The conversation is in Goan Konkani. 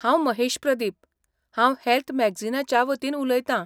हांव महेश प्रदीप, हांव हॅल्थ मॅगजीनाच्या वतीन उलयतां.